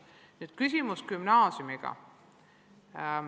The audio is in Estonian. Teil oli küsimus gümnaasiumi kohta.